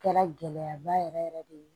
Kɛra gɛlɛya ba yɛrɛ yɛrɛ de ye